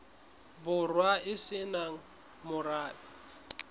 borwa e se nang morabe